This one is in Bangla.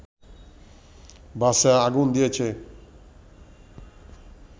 বাসে আগুন দিয়েছে